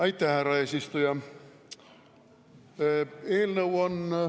Aitäh, härra eesistuja!